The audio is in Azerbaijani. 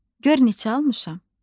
gör neçə almışam.